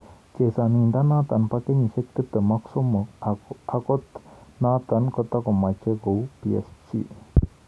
Chesanindenotok bo kenyisiek 23 akot notok kotokomachei kou PSG